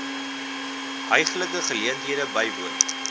heuglike geleentheid bywoon